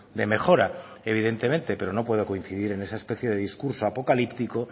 de mejora evidentemente pero no puedo coincidir en esa especie de discurso apocalíptico